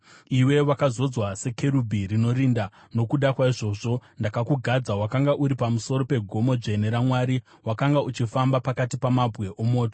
Wakazodzwa sekerubhi rinorinda, nokuti ndiko kugadza kwandakakuita. Wakanga uri pamusoro pegomo dzvene raMwari; wakanga uchifamba pakati pamabwe omoto.